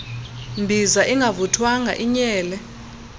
mbiza ingavuthwanga inyele